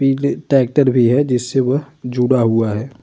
पीले ट्रेक्टर भी है जिससे वो जुड़ा हुआ है।